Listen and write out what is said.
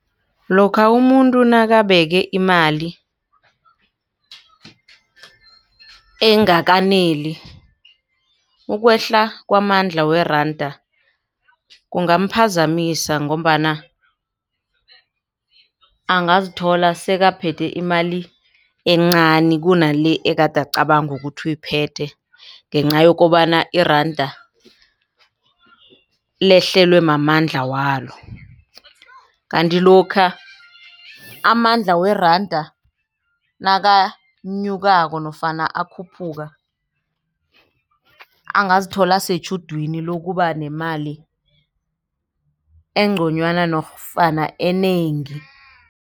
Lokha umuntu nakabeke imali engakaneli ukwehla kwamandla weranda kungamphazamisa Ngombana angazithola sekaphethe imali encani kunale ekade acabanga ukuthi uyiphethe. Ngenca yokobana iranda lehlelwe mamandla walo. Kanti lokha amandla weranda nakanyukako nofana akhuphuka angazithola asetjhudwini lokuba nemali engconywana nofana enengi.